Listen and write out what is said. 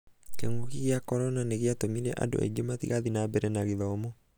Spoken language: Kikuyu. king'uki gĩa korona nĩgĩatũmire andũ aingĩ matigathiĩ na mbere na gĩthomo.